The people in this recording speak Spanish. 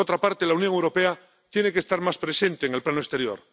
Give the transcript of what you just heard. Por otra parte, la Unión Europea tiene que estar más presente en el plano exterior.